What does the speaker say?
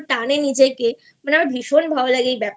এতো টানে নিজেকে মানে আমারxa0ভীষণxa0ভালোxa0লাগে